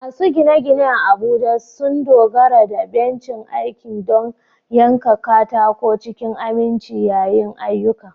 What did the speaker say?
Masu gine-gine a Abuja sun dogara da bencin aiki don yanka katako cikin aminci yayin ayyukan.